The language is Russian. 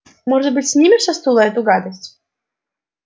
может быть снимешь со стула эту гадость